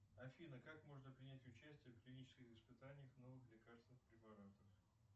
афина как можно принять участие в клинических испытаниях новых лекарственных препаратов